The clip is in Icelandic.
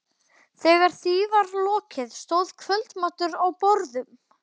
Þegar því var lokið stóð kvöldmatur á borðum.